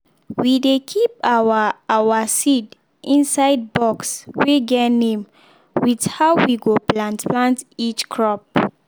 we dey keep our our seed inside box wey get name with how we go plant plant each crop.